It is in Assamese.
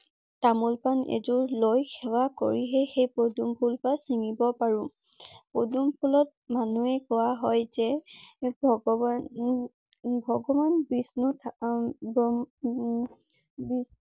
তামূল পাণ এযোৰ লৈ‌ সেৱা কৰিহে সেই পদুম ফুলপাহ চিঙিব পাৰোঁ পদুম ফুলত মানুহে কোৱা হৈ যে ভগৱান উম ভগৱান বিষ্ণু